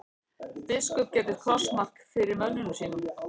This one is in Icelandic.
Biskup gerði krossmark fyrir mönnunum.